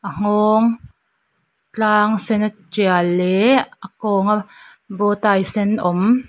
a nghawng tlang sen a tial leh a kawnga bowtie sen awm--